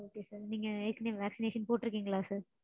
okay sir. நீங்க ஏற்கெனவே vaccination போட்டிருக்கீங்களா sir?